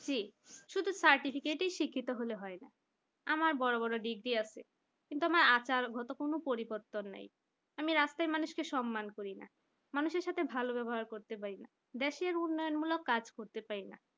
শুধু certificate ই শিক্ষিত হলে হয়না আমার বড় বড় degree আছে কিন্তু আমার আচারগত কোন পরিবর্তন নেই আমি রাস্তায় মানুষকে সম্মান করি না মানুষের সাথে ভালো ব্যবহার করতে বলল দেশের উন্নয়ন মূলক কাজ করতে পারিনা।